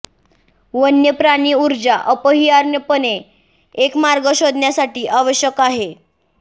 वन्य प्राणी ऊर्जा अपरिहार्यपणे एक मार्ग शोधण्यासाठी आवश्यक आहे